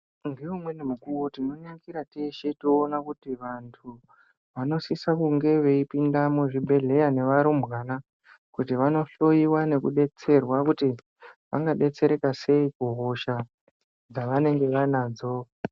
Ngeumweni mukuvo tinonyangira teshe toona kuti antu vanosise kunge veipinda muzvibhedhleya nevarumbwana. Kuti vanohloiwa nekubetserwa kuti vangabetsereka sei kuhosha dzavanenge vanadzo.